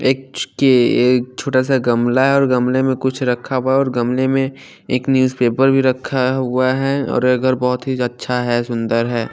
एक छ के छोटा सा गमला है और गमले में कुछ रखा हुआ और गमले में एक न्यूजपेपर भी रखा हुआ है और अगर बहोत ही अच्छा है सुंदर है।